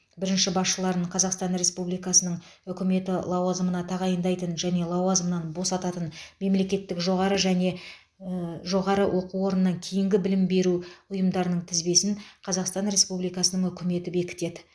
бірінші басшыларын қазақстан республикасының үкіметі лауазымына тағайындайтын және лауазымынан босататын мемлекеттік жоғары және ээ жоғары оқу орнынан кейінгі білім беру ұйымдарының тізбесін қазақстан республикасының үкіметі бекітеді